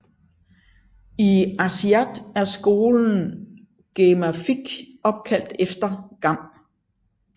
I Aasiaat er skolen Gammeqarfik opkaldt efter Gam